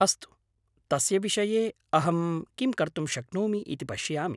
अस्तु, तस्य विषये अहं किं कर्तुं शक्नोमि इति पश्यामि।